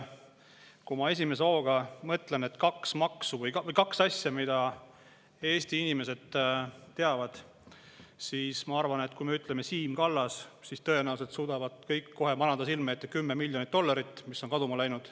Kui ma esimese hooga mõtlen kahele asjale, mida Eesti inimesed teavad, siis ma arvan, et kui me ütleme Siim Kallas, siis tõenäoliselt suudavad kõik kohe manada silme ette 10 miljonit dollarit, mis on kaduma läinud.